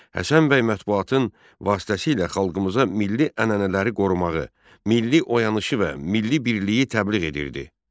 Həsən bəy mətbuatın vasitəsilə xalqımıza milli ənənələri qorumağı, milli oyanışı və milli birliyi təbliğ edirdi.